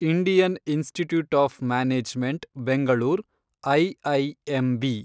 Indian institute of management Bengaluru, IIMB